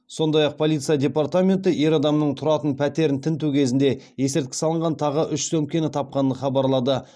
сондай ақ полиция департаменті ер адамның тұратын пәтерін тінту кезінде есірткі салынған тағы үш сөмкені тапқанын хабарлады